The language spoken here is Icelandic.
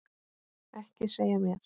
Ekki segja mér